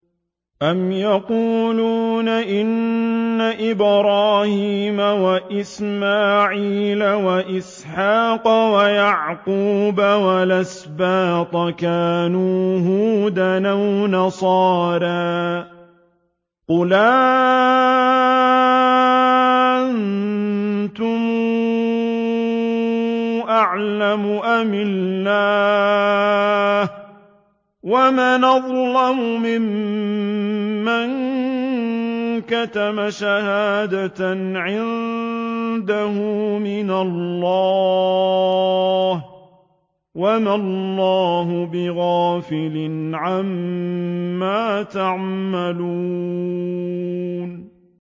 أَمْ تَقُولُونَ إِنَّ إِبْرَاهِيمَ وَإِسْمَاعِيلَ وَإِسْحَاقَ وَيَعْقُوبَ وَالْأَسْبَاطَ كَانُوا هُودًا أَوْ نَصَارَىٰ ۗ قُلْ أَأَنتُمْ أَعْلَمُ أَمِ اللَّهُ ۗ وَمَنْ أَظْلَمُ مِمَّن كَتَمَ شَهَادَةً عِندَهُ مِنَ اللَّهِ ۗ وَمَا اللَّهُ بِغَافِلٍ عَمَّا تَعْمَلُونَ